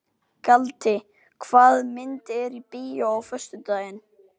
Galti, hvaða myndir eru í bíó á föstudaginn?